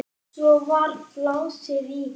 Svo var blásið í.